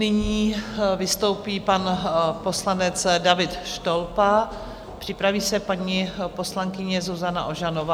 Nyní vystoupí pan poslanec David Štolpa, připraví se paní poslankyně Zuzana Ožanová.